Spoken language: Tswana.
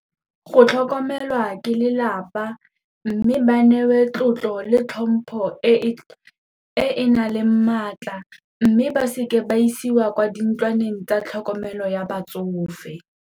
Go tlhokomelwa ke lelapa mme ba newe tlotlo le tlhompho e e nang le maatla mme ba seke ba isiwa kwa dintlwaneng tsa tlhokomelo ya batsofe.